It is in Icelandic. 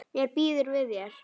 Mér býður við þér.